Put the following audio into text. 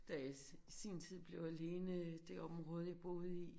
Da jeg i sin tid blev alene i det område jeg boede i